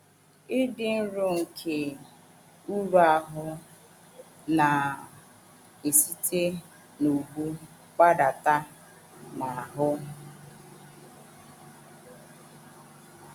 Ịdị nro nke um uru ahụ́ na um - esite n’ubu gbadata um n’ahụ́.